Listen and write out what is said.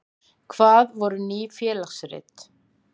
Hvað voru Ný félagsrit?